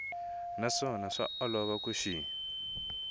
naswona swa olova ku xi